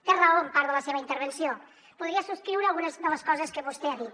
té raó en part de la seva intervenció podria subscriure algunes de les coses que vostè ha dit